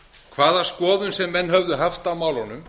hvaða skoðun sem menn höfðu haft á málunum